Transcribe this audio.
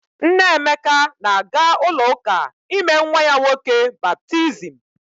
Nne Emeka na-aga ụlọụka ime nwa ya nwoke baptizim.